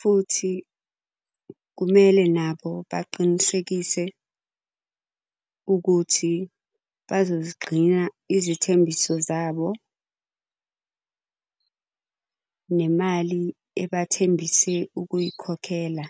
Futhi kumele nabo baqinisekise ukuthi bazozigcina izithembiso zabo. Nemali ebathembise ukuyikhokhela.